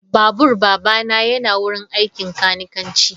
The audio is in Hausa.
Babur babana yana wurin aikin kanikanci.